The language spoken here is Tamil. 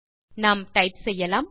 நான் டைப் செய்யலாம்